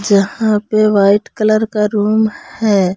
जहां पे white colour का रूम है।